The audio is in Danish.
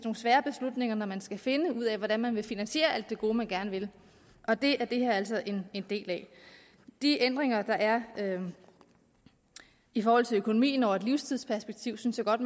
svære beslutninger når man skal finde ud af hvordan man vil finansiere alt det gode man gerne vil og det er det her altså en del af de ændringer der er i forhold til økonomien over et livstidsperspektiv synes jeg godt